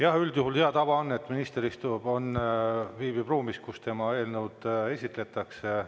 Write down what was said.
Jah, üldjuhul hea tava on, et minister viibib ruumis, kui tema eelnõu esitletakse.